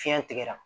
Fiɲɛ tigɛra